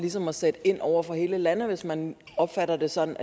ligesom at sætte ind over for hele lande hvis man opfatter det sådan